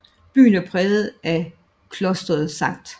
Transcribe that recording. Byen er præget af Klosteret St